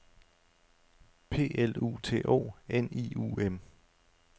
P L U T O N I U M